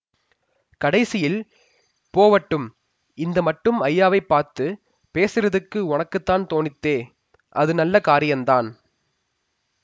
கடைசியில் போவட்டும் இந்த மட்டும் ஐயாவைப் பார்த்து பேசறத்துக்கு ஒனக்குத்தான் தோணித்தே அது நல்ல காரியந்தான்